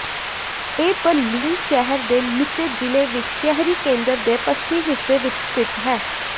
ਇਹ ਬਰਲਿਨ ਸ਼ਹਿਰ ਦੇ ਮਿੱਤੇ ਜ਼ਿਲ੍ਹੇ ਵਿੱਚ ਸ਼ਹਿਰੀ ਕੇਂਦਰ ਦੇ ਪੱਛਮੀ ਹਿੱਸੇ ਵਿੱਚ ਸਥਿਤ ਹੈ